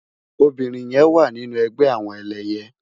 Óbirin yèn wá ninú ègbè àwòn èlèyè